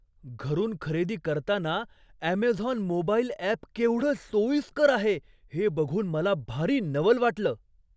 घरून खरेदी करताना अॅमेझॉन मोबाईल अॅप केवढं सोयीस्कर आहे हे बघून मला भारी नवल वाटलं.